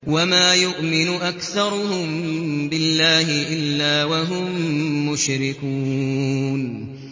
وَمَا يُؤْمِنُ أَكْثَرُهُم بِاللَّهِ إِلَّا وَهُم مُّشْرِكُونَ